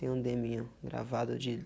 Tem um deminho, gravado de